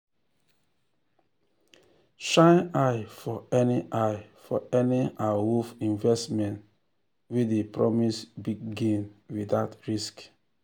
shine eye for any eye for any awoof investment wey dey promise big gain without risk.